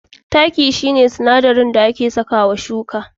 Taki shi ne sinadarin da ake sakawa shuka.